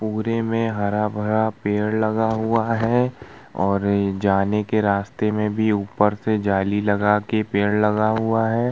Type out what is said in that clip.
पूरे में हरा-भरा पेड़ लगा हुआ है और जाने के रास्ते में भी ऊपर से जाली लगा के पेड़ लगा हुआ है।